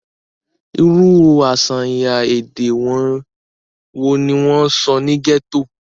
irú àṣàyàn èdè wo ni wọ́n sọ ní gẹ́tò?